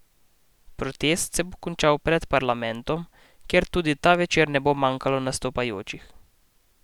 Protest se bo končal pred parlamentom, kjer tudi ta večer ne bo manjkalo nastopajočih.